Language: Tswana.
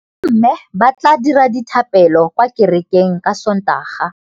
Bommê ba tla dira dithapêlô kwa kerekeng ka Sontaga.